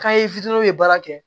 fitini be baara kɛ